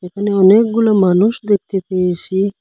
এখানে অনেকগুলো মানুষ দেখতে পেয়েসি।